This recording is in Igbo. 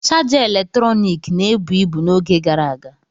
Chaja eletrọnịkị na-ebu ibu n'oge gara aga.